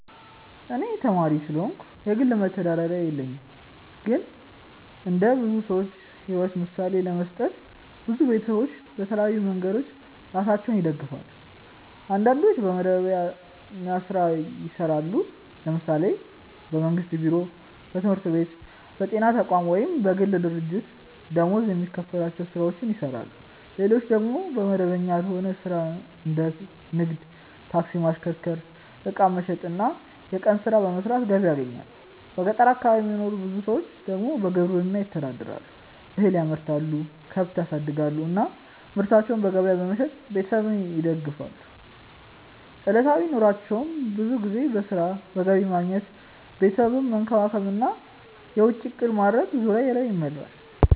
እኔ ተማሪ ስለሆንኩ የግል መተዳደሪያ የለኝም። ግን እንደ ብዙ ሰዎች ሕይወት ምሳሌ ለመስጠት፣ ብዙ ቤተሰቦች በተለያዩ መንገዶች ራሳቸውን ይደግፋሉ። አንዳንዶች በመደበኛ ሥራ ይሰራሉ፤ ለምሳሌ በመንግስት ቢሮ፣ በትምህርት ቤት፣ በጤና ተቋም ወይም በግል ድርጅት ደመወዝ የሚከፈላቸው ሥራዎችን ይሰራሉ። ሌሎች ደግሞ በመደበኛ ያልሆነ ሥራ እንደ ንግድ፣ ታክሲ ማሽከርከር፣ ዕቃ መሸጥ ወይም የቀን ሥራ በመስራት ገቢ ያገኛሉ። በገጠር አካባቢ የሚኖሩ ብዙ ሰዎች ደግሞ በግብርና ይተዳደራሉ፤ እህል ያመርታሉ፣ ከብት ያሳድጋሉ እና ምርታቸውን በገበያ በመሸጥ ቤተሰባቸውን ይደግፋሉ። ዕለታዊ ኑሯቸው ብዙ ጊዜ በሥራ፣ በገቢ ማግኘት፣ ቤተሰብን መንከባከብ እና የወጪ እቅድ ማድረግ ዙሪያ ይመራል።